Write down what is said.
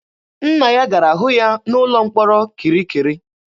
Nna ya gara hụ ya n'ụlọ mkpọrọ kirikiri.